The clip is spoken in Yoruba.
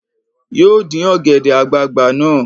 Yóò dín ọ̀gẹ̀dẹ̀ àgbagbà náà